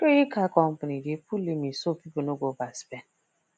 credit card company dey put limit so people no go overspend